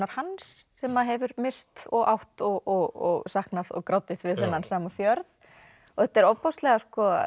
hans sem hefur misst og átt og saknað og grátið við þennan sama fjörð þetta er ofboðslega